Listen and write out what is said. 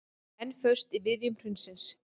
Enn föst í viðjum hrunsins